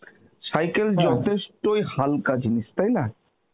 cycle হালকা জিনিস তাই না?